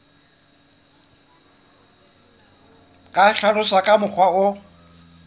ka hlaloswa ka mokgwa o